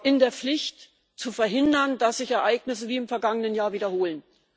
in der Pflicht, zu verhindern, dass sich Ereignisse wie im vergangenen Jahr wiederholen.